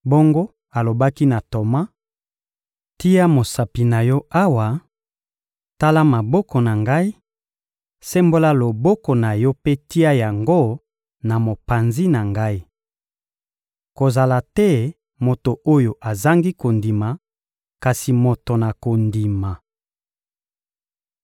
Bongo, alobaki na Toma: — Tia mosapi na yo awa, tala maboko na Ngai; sembola loboko na yo mpe tia yango na mopanzi na Ngai. Kozala te moto oyo azangi kondima, kasi moto na kondima!